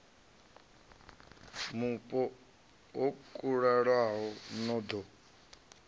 mupo ho kalulaho no ḓo